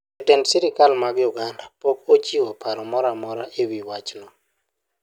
Jotend sirkal mag Uganda pok ochiwo paro moro amora e wi wachno.